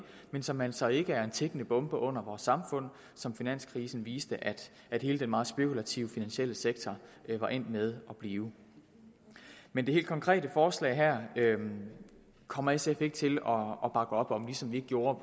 men som altså ikke er en tikkende bombe under vores samfund som finanskrisen viste at hele den meget spekulative finansielle sektor var endt med at blive men det helt konkrete forslag her kommer sf ikke til op om ligesom vi ikke gjorde